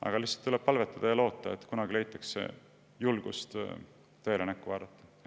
Aga tuleb lihtsalt palvetada ja loota, et kunagi leitakse endas julgus tõele näkku vaadata.